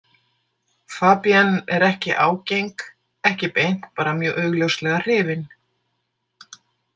Fabienne er ekki ágeng, ekki beint, bara mjög augljóslega hrifin.